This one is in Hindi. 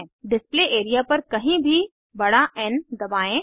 डिस्प्ले एरिया पर कहीं भी बड़ा एन दबाएं